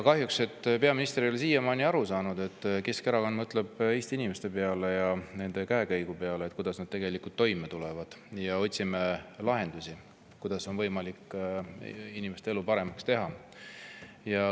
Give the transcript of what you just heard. Kahjuks ei ole peaminister siiamaani aru saanud, et Keskerakond mõtleb Eesti inimeste ja nende käekäigu peale, et kuidas nad tegelikult toime tulevad, ja me otsime lahendusi, kuidas oleks võimalik inimeste elu paremaks teha.